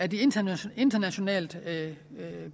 de internationalt internationalt